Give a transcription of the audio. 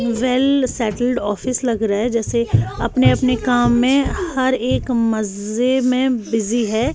Well settled office लग रहा है जैसे अपने अपने काम में हर एक मजे में बिजी है।